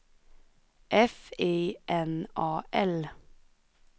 F I N A L